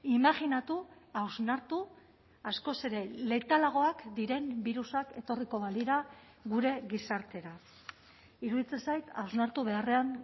imajinatu hausnartu askoz ere letalagoak diren birusak etorriko balira gure gizartera iruditzen zait hausnartu beharrean